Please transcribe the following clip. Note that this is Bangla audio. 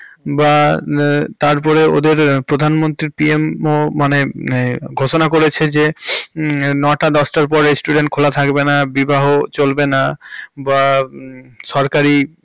বাহ্ তারপর ওদের প্রধান মন্ত্রী PM ও মানে ঘোষণা করেছে যে নয়টা দশটার পর restaurant খোলা থাকবে না, বিবাহ চলবেনা, বা সরকারি।